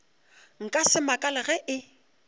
nka se makale ge e